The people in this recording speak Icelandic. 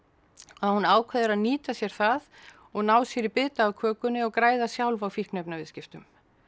að hún ákveður að nýta sér það og ná sér í bita af kökunni og græða sjálf á fíkniefnaviðskiptum